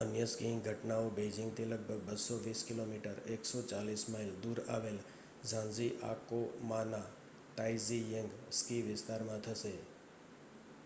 અન્ય સ્કીઇંગ ઘટનાઓ બેઇજિંગથી લગભગ 220 કિમી 140 માઇલ દૂર આવેલા ઝાંજીઆકોમાંના તાઇઝીચેંગ સ્કી વિસ્તારમાં થશે